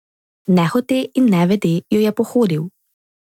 Nehote in nevede jo je pohodil.